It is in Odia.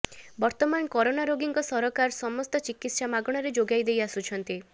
ବର୍ତ୍ତମାନ କରୋନା ରୋଗୀଙ୍କ ସରକାର ସମସ୍ତ ଚିକିତ୍ସା ମାଗଣାରେ ଯୋଗେଇ ଦେଇଆସୁଛନ୍ତି